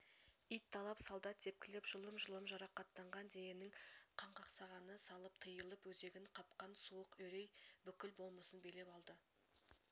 ит талап солдат тепкілеп жұлым-жұлым жарақаттанған дененің қанқақсағаны салып тиылып өзегін қапқан суық үрей бүкіл болмысын билеп алды